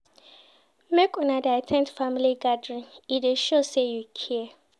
Make una dey at ten d family gathering, e dey show sey you care.